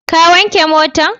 Ka wanke motan?